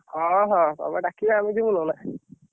ହଁ ହଁ, ତମେ ଡାକିବ ଆମେ ଯିବୁନି ନା।